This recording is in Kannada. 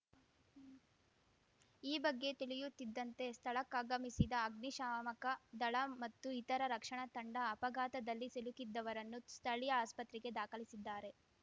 ಈ ಬಗ್ಗೆ ತಿಳಿಯುತ್ತಿದ್ದಂತೆ ಸ್ಥಳಕ್ಕಾಗಮಿಸಿದ ಅಗ್ನಿಶಾಮಕ ದಳ ಮತ್ತು ಇತರ ರಕ್ಷಣಾ ತಂಡ ಅಪಘಾತದಲ್ಲಿ ಸಿಲುಕಿದ್ದವರನ್ನು ಸ್ಥಳೀಯ ಆಸ್ಪತ್ರೆಗೆ ದಾಖಲಿಸಿದ್ದಾರೆ